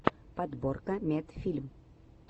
подборка медфильм